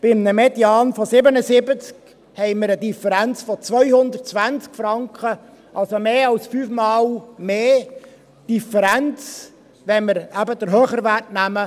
Bei einem Median von 77 haben wir eine Differenz von 220 Franken, also mehr als fünfmal mehr Differenz, wenn wir eben den höheren Wert nehmen.